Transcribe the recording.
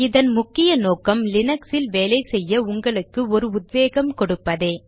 இதன் முக்கிய நோக்கம் லீனக்ஸில் வேலை செய்ய உங்களுக்கு ஒரு உத்வேகம் கொடுப்பதே